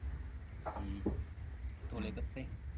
ਹਮ ਧੋਲੇ ਕੱਪੜੇ?